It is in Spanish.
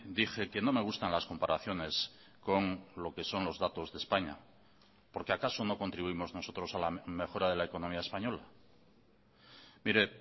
dije que no me gustan las comparaciones con lo que son los datos de españa porque acaso no contribuimos nosotros a la mejora de la economía española mire